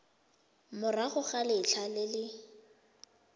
morago ga letlha le le